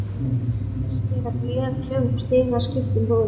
Skera gler, klifra upp í stiga, skipta um rúður.